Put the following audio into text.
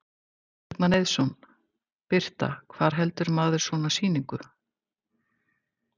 Logi Bergmann Eiðsson: Birta, hvar heldur maður svona sýningu?